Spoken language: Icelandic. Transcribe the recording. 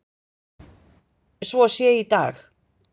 svo sé í dag.